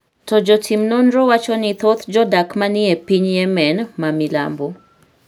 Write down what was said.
to jotim nonro wacho ni thoth jodak ma ni e piny Yemen ma milambo .